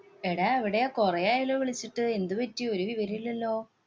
എടാ, എവിടെയാ? കൊറേയായല്ലോ വിളിച്ചിട്ട്? എന്ത് പറ്റി? ഒരു വിവരോമില്ലല്ലോ.